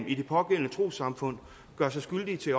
i det pågældende trossamfund gør sig skyldig